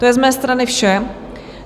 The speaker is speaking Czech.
To je z mé strany vše.